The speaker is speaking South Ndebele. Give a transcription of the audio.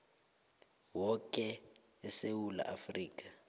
woke esewula afrika